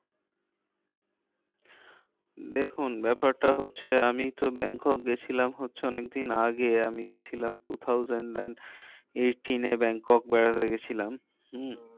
দেখুন ব্যাপারটা হচ্ছে আমি তো ব্যাংকক গেছিলাম হচ্ছে অনেক দিন আগে। আমি গিয়েছিলাম two thousand and eighteen এ ব্যাংকক বেড়াতে গিয়েছিলাম।